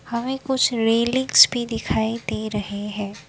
हमे कुछ रेलिंग्स भी दिखाई दे रहे है।